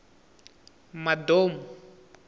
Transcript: madou